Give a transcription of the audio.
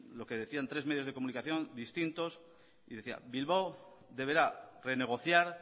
lo que decían tres medios de comunicaciones distintos y decían bilbao deberá renegociar